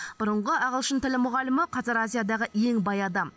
бұрынғы ағылшын тілі мұғалімі қазір азиядағы ең бай адам